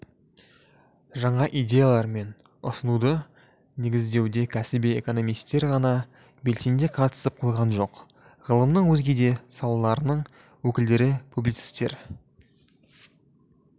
жаңа идеялар мен ұсынуды негіздеуде кәсіби экономистер ғана белсене қатысып қойған жоқ ғылымның өзге де салаларының өкілдері публицистер